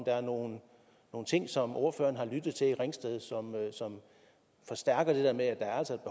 er nogle ting som ordføreren har lyttet til i ringsted som forstærker det der med at der altså